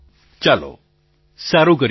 પ્રધાનમંત્રી ચાલો સારું કર્યું આપે